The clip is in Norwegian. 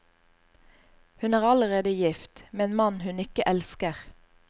Hun er allerede gift, med en mann hun ikke elsker.